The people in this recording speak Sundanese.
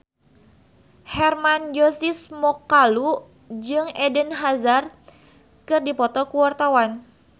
Hermann Josis Mokalu jeung Eden Hazard keur dipoto ku wartawan